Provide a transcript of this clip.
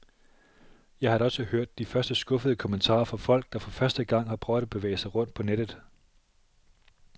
Jeg har da også hørt de første skuffede kommentarer fra folk, der for første gang har prøvet at bevæge sig rundt på nettet.